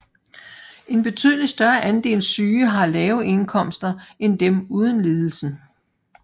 En betydeligt større andel syge har lave indkomster end dem uden lidelsen